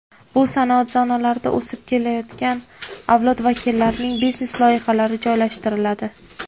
Bu sanoat zonalarida o‘sib kelayotgan avlod vakillarining biznes loyihalari joylashtiriladi.